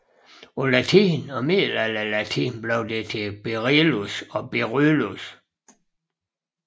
På latin og middelalderlatin blev det til berillus og beryllus